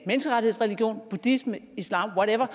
menneskerettighedsreligion buddhisme islam what ever